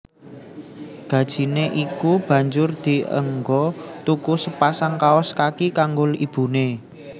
Gajine iku banjur dienggo tuku sepasang kaos kaki kanggo ibune